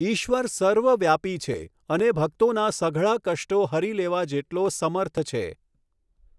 ઈશ્વર સર્વવ્યાપી છે અને ભકતોના સઘળા કષ્ટો હરી લેવા જેટલો સમર્થ છે.